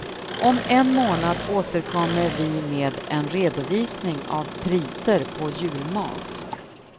Om en månad återkommer vi med en redovisning av priser på julmat.